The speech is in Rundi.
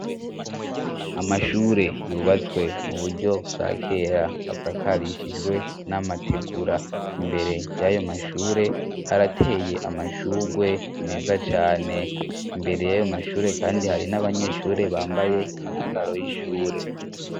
Amashure yubatswe mu buryo bwa kera asakarishijwe n'amategura imbere y'ayo mashure harateye amashurwe umeza cane imbere y'ayo mashure, kandi hari n'abanyeshure bambaye inyambaro y'ishure.